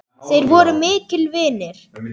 Þeir voru miklir vinir.